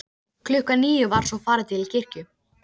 Tíminn var ekki lífið, og það var önnur saga.